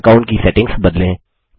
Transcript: account की settings बदलें